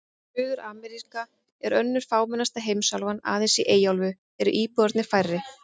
Suður-Ameríka er önnur fámennasta heimsálfan, aðeins í Eyjaálfu eru íbúarnir færri.